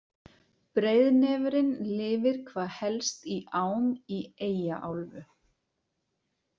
Breiðnefurinn lifir hvað helst í ám í Eyjaálfu.